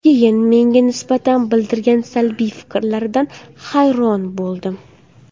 Keyin menga nisbatan bildirgan salbiy fikrlaridan hayron bo‘ldim.